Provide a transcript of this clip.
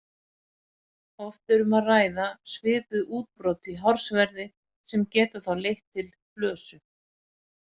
Oft er um að ræða svipuð útbrot í hársverði sem geta þá leitt til flösu.